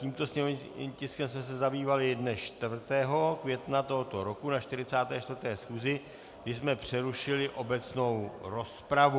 Tímto sněmovním tiskem jsme se zabývali dne 4. května tohoto roku na 44. schůzi, kdy jsme přerušili obecnou rozpravu.